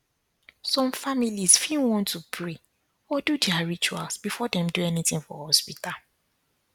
some families fit want to pray or do their rituals before dem do anything for hospital